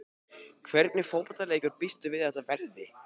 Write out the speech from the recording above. Hvernig fótboltaleikur býstu við að þetta verði?